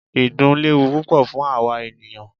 Ìdun léwu púpọ fún àwa ènìyàn.